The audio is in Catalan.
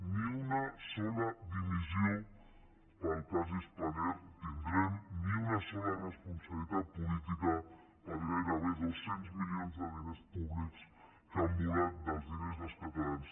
ni una sola dimissió pel cas spanair tindrem ni una sola responsabilitat política per gairebé dos cents milions de diners públics que han volat dels diners dels catalans